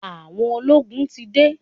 Àwọn ológun ti de.